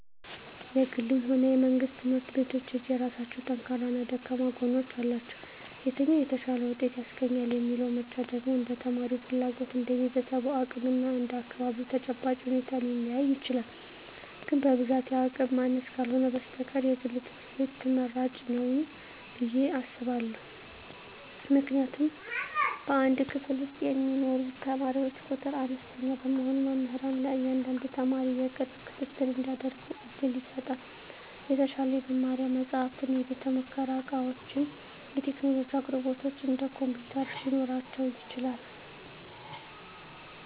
የግልም ሆነ የመንግሥት ትምህርት ቤቶች የየራሳቸው ጠንካራና ደካማ ጎኖች አሏቸው። የትኛው "የተሻለ ውጤት" ያስገኛል የሚለው ምርጫ ደግሞ እንደ ተማሪው ፍላጎት፣ እንደ ቤተሰቡ አቅም እና እንደ አካባቢው ተጨባጭ ሁኔታ ሊለያይ ይችላል። ግን በብዛት የአቅም ማነስ ካልህነ በስተቀር የግል ትምህርት ቤት ትመራጭ ንው ብየ አስባእሁ። ምክንያቱም በአንድ ክፍል ውስጥ የሚማሩ ተማሪዎች ቁጥር አነስተኛ በመሆኑ መምህራን ለእያንዳንዱ ተማሪ የቅርብ ክትትል እንዲያደርጉ ዕድል ይሰጣል። የተሻሉ የመማሪያ መጻሕፍት፣ የቤተ-ሙከራ ዕቃዎችና የቴክኖሎጂ አቅርቦቶች (እንደ ኮምፒውተር) ሊኖራቸው ይችላል።